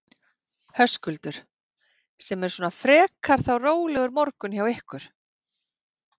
Höskuldur: Sem er svona frekar þá rólegur morgunn hjá ykkur?